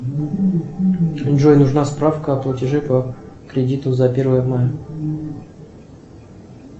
джой нужна справка о платеже по кредиту за первое мая